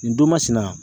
Nin don masina